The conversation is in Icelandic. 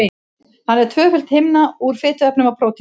Hann er tvöföld himna úr fituefnum og prótínum.